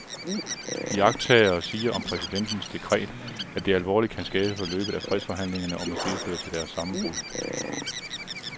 Iagttagere siger om præsidentens dekret, at det alvorligt kan skade forløbet af fredsforhandlingerne og måske føre til deres sammenbrud.